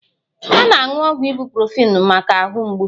A na-aṅụ ọgwụ ịbuprofin maka ahụ mgbu